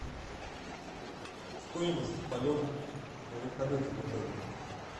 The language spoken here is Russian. стоимость полета на вертолете в отеле